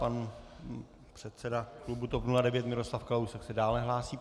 Pan předseda klubu TOP 09 Miroslav Kalousek se dále hlásí.